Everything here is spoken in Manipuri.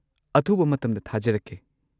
ꯑꯊꯨꯕ ꯃꯇꯝꯗ ꯊꯥꯖꯔꯛꯀꯦ!